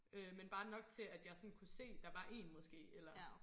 Øh men bare nok til at jeg sådan kunne se der var én måske eller